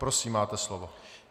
Prosím, máte slovo.